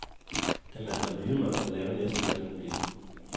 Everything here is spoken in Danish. Da man var lille måtte man lave næsten, hvad man ville.